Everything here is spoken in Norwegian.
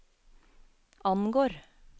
angår